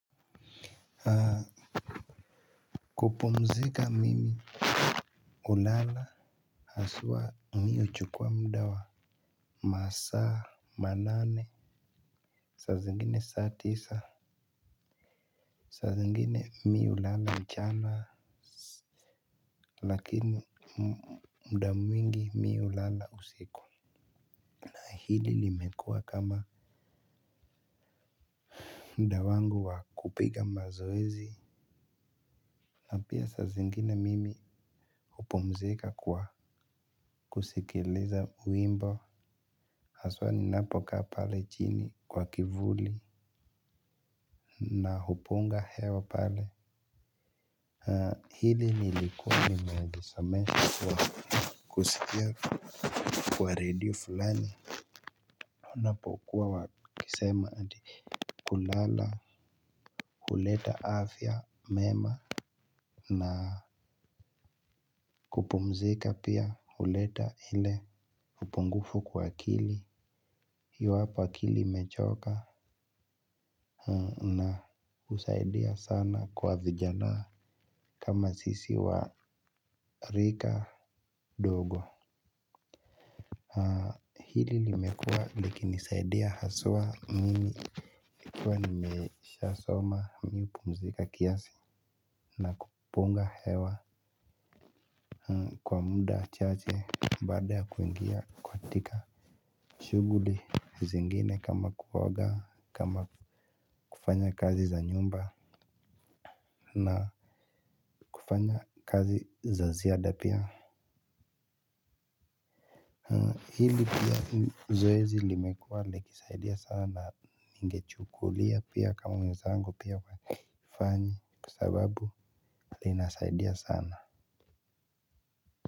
Haa. Kupumzika mimi ulala. Haswa mi huchukwa muda wa Masaa Manane Sazengine saa tisa. Sazengine mi ulala mchana. Lakini mda mwingi mi ulala usiku. Hili limekua kama muda wangu wa kupiga mazoezi. Na pia sazengine mimi hupumzika kwa kusikiliza wimbo. Haswa ninapokaa pale chini kwa kivuli na hupunga hewa pale. Hili nilikuwa nimagisamesha kwa kusikia kwa redio fulani. Unapokuwa wakisema ati kulala. Huleta afya mema na kupumzika pia huleta hile hupungufu kwa kili. Hio hapa akili imechoka na usaidia sana kwa vijana. Kama sisi wa rika dogo hili limekua likinisaidia haswa mimi kwa nimeshasoma mi hupumzika kiasi na kupunga hewa kwa muda chaache baada ya kuingia katika shuguli zingine kama kuoga kama kufanya kazi za nyumba na kufanya kazi za ziada pia. Hili pia zoezi limekuwa likisaidia sana na ningechukulia pia kama mwenzangu pia wafanyi kwa sababu linasaidia sana.